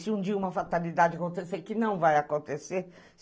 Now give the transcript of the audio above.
Se um dia uma fatalidade acontecer, que não vai acontecer.